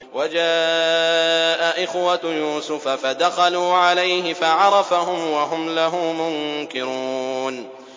وَجَاءَ إِخْوَةُ يُوسُفَ فَدَخَلُوا عَلَيْهِ فَعَرَفَهُمْ وَهُمْ لَهُ مُنكِرُونَ